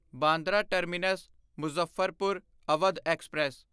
Bandra terminus Muzaffarpur Awadh express